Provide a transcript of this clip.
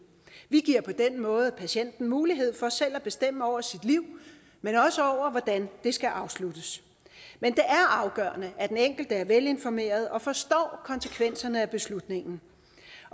vi giver på den måde patienten mulighed for både selv at bestemme over sit liv men også over hvordan det skal afsluttes men det er afgørende at den enkelte er velinformeret og forstår konsekvenserne af beslutningen